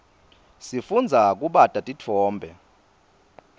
sifundza kubata titfombe